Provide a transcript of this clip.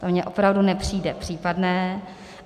To mně opravdu nepřijde případné.